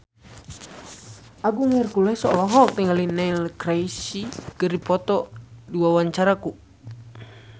Agung Hercules olohok ningali Neil Casey keur diwawancara